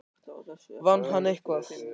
Vann hann eitthvað?